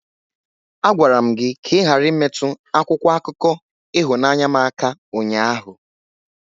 Agwara m gi ka ighara imetụ akwụkwọ akụkọ ịhụnanya m aka ụnyaahụ!